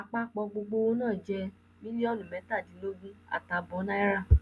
àpapọ gbogbo owó náà jẹ mílíọnù mẹtàdínlógún àtààbọ náírà